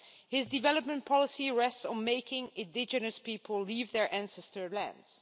His development policy rests on making indigenous people leave their ancestral lands.